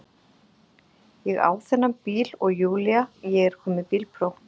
Ég á þennan bíl og Júlía ég er komin með bílpróf